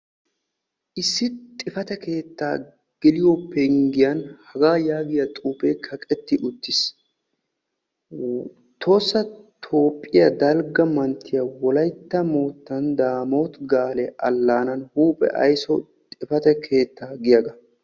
Isis xifate keetta geliyo penggiyan xifatee keetta mulebba yoottiya xuufe kaqqetti uttiis.